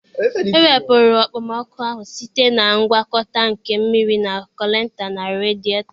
E wepụrụ okpomọkụ ahụ site na ngwakọta nke mmiri na culantị na radịetọ